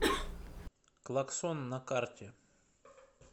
клаксон на карте